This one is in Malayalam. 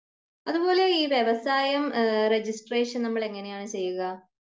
അതുപോലെ ഈ വ്യവസായം അഹ്മ് റെജിസ്ട്രേഷൻ നമ്മൾ എങ്ങിനെയാണ് ചെയ്യുക